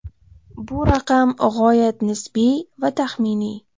Bu raqam g‘oyat nisbiy va taxminiy.